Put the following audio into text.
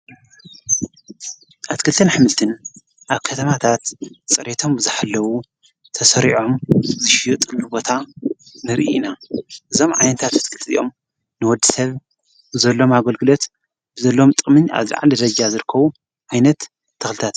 ኣትክልተን ኣኅምልትን ኣብ ከተማታት ጸሬቶም ብዘሕለዉ ተሠሪዖም ዝሽዩጥንብ ቦታ ንርኢና እዞም ዓኔንታት ኣትክልጥዚኦም ንወዲ ሰብ ብዘሎም ኣጐልግደት ብዘሎም ጥምን ኣዝልዓ ደዘጃ ዘርከዉ ኣይነት ተኽልታት እዮም።